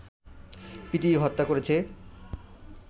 পিটিয়ে হত্যা করেছে